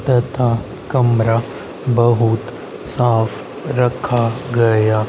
तथा कमरा बहुत साफ रखा गया--